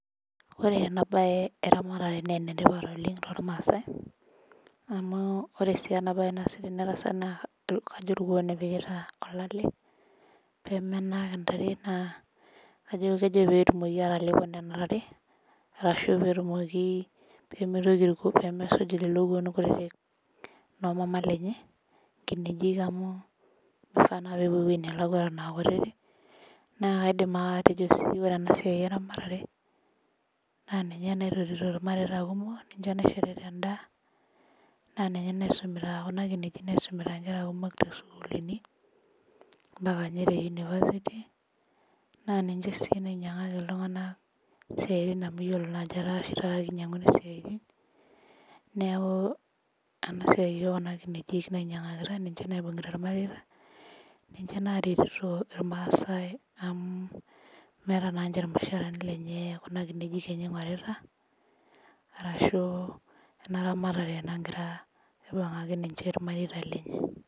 Ore ena bae eramatare naa ene tipat oleng toolmaasae. ore sii ena tasat naa kajo irkuon epikitae olale. pee menak intare. naa kajo kejo pee etumoki atalepo nena tare, arashu peetumoki. pee mitoki aaku lelo kuona kutitik. noo mama lenyem nkinejik amu mifaa naa pee epuo ewueji nelakua Eton aa kutitik. naa kaidim bake atejo sii ore ena siai eramatare ninye naitotito ilmareita kumok. ninye naishorita edaa. naa Kuna kineji naisumita nkera kumok too sukuulini. naa kajo te university .naa ninche sii nainyiangaki iltunganak te Ina amu etaa oshi taata kinyiang'uni isiatin. neeku keeku Kuna kineji nainyiangakita ninche. naibungita ilpaek. ninche naaretito ilmaasae amu Kuna kineji oshi enye ingorita .ashu ena ramatare nagira aibung'aki ninche ilmareita lenye.